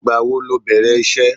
Ìgbà wo lo bẹ̀rẹ̀ iṣẹ́?